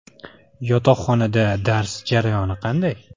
Yotoqxonada dars jarayoni qanday?